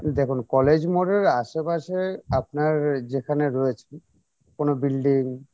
দেখুন কলেজ মোড় এর আশেপাশে আপনার যেখানে রয়েছেন কোনো building?